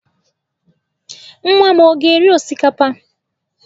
Nwa m ọ ga-eri osikapa?